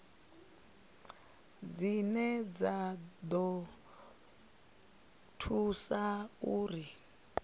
dzine dza ḓo thusa uri